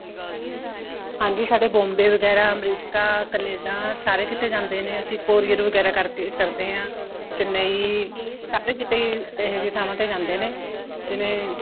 ਹਾਂਜੀ ਸਾਡੇ Bombay ਵਗੈਰਾ ਅਮਰੀਕਾ ਕੈਨੇਡਾ ਸਾਰੇ ਕੀਤੇ ਜਾਂਦੇ ਨੇ ਅਸੀਂ courier ਵਗੈਰਾ ਕਰਦੇ ਆ Chennai ਸਾਰੇ ਕਿਤੇ ਹੀ ਇਹ ਜੀ ਥਾਵਾਂ ਤੇ ਜਾਂਦੇ ਨੇ ਜਿਵੇਂ